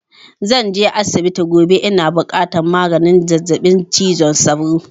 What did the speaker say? Zan je asibiti gobe, ina buƙatar maganin zazzaɓi cizon sauro